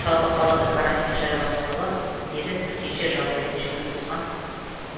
жалпы қалада карантин жарияланғалы бері төтенше жағдай режимін бұзған